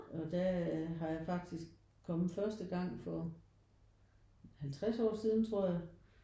Og der har jeg faktisk kommet først gang for 50 år siden tror jeg